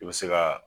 I bɛ se ka